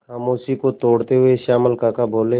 खामोशी को तोड़ते हुए श्यामल काका बोले